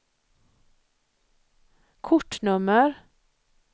kortnummer